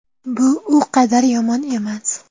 Bu u qadar yomon emas.